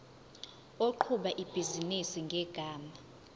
oqhuba ibhizinisi ngegama